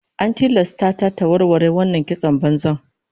An tilasta ta ta warware wannan kiston banzan